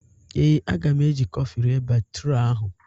Ee, a ga m eji kọfị rịe batụra ahụ